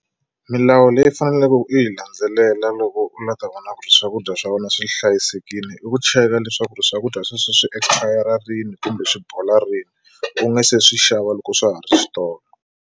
Milawu leyi faneleke u yi landzelela loko u lava ta vona ku ri swakudya swa vona swi hlayisekile i ku cheka leswaku ri swakudya sweswo swi expire rini kumbe swi bola rini u nga se swi xava loko swa ha ri switolo.